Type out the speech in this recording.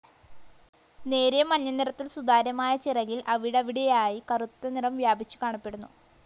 നേരിയ മഞ്ഞ നിറത്തിൽ സുതാര്യമായ ചിറകിൽ അവിടവിടെയായി കറുത്ത നിറം വ്യാപിച്ചു കാണപ്പെടുന്നു.